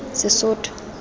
sesotho